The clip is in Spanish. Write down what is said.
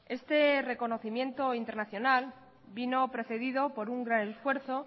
este reconocimiento internacional vino precedido por un gran esfuerzo